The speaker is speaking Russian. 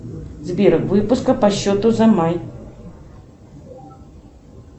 сбер выписка по счету за май